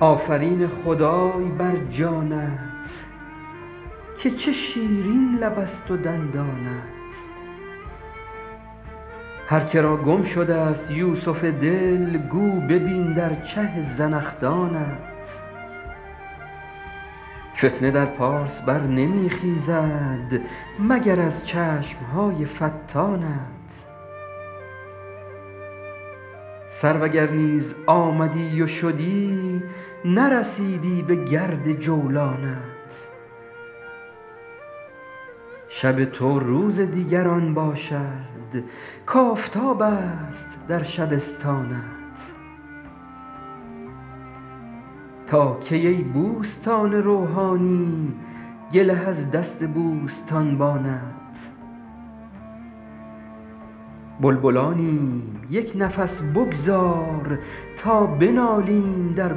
آفرین خدای بر جانت که چه شیرین لبست و دندانت هر که را گم شدست یوسف دل گو ببین در چه زنخدانت فتنه در پارس بر نمی خیزد مگر از چشم های فتانت سرو اگر نیز آمدی و شدی نرسیدی بگرد جولانت شب تو روز دیگران باشد کآفتابست در شبستانت تا کی ای بوستان روحانی گله از دست بوستانبانت بلبلانیم یک نفس بگذار تا بنالیم در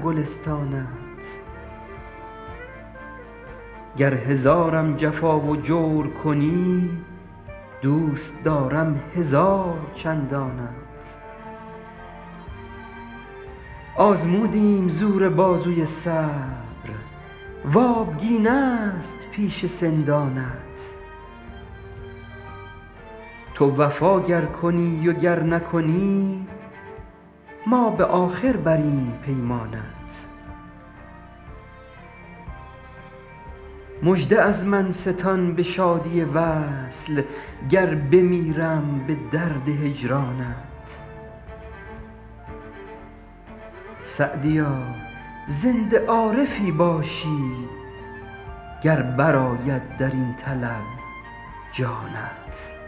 گلستانت گر هزارم جفا و جور کنی دوست دارم هزار چندانت آزمودیم زور بازوی صبر و آبگینست پیش سندانت تو وفا گر کنی و گر نکنی ما به آخر بریم پیمانت مژده از من ستان به شادی وصل گر بمیرم به درد هجرانت سعدیا زنده عارفی باشی گر برآید در این طلب جانت